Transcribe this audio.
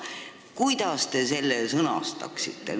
Kuidas te selle sõnastaksite?